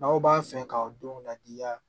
N'aw b'a fɛ k'aw denw ladiya